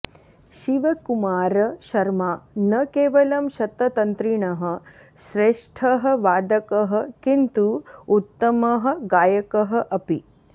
शिवकुमार शर्मा न केवलं शततन्त्रिणः श्रेष्ठः वादकः किन्तु उत्तमः गायकः अपि